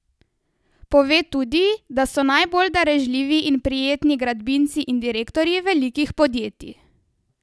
Pove tudi, da so najbolj darežljivi in prijetni gradbinci in direktorji velikih podjetij.